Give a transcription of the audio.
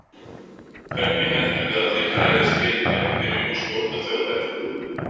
Hvernig heldurðu að þeir bregðist við ef við byrjum að skjóta Þjóðverja?